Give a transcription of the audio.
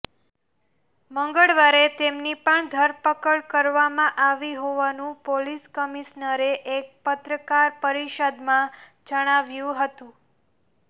મંગળવારે તેમની પણ ધરપકડ કરવામાં આવી હોવાનું પોલીસ કમિશનરે એક પત્રકાર પરિષદમાં જણાવ્યું હતું